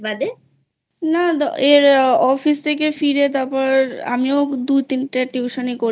না অফিস থেকে ফিরে তারপর আমিও দুতিনটে Tution ই করি